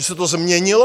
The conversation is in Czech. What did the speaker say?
Že se to změnilo?